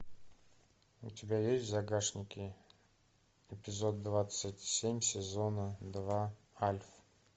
у тебя есть в загашнике эпизод двадцать семь сезона два альф